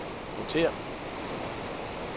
rotér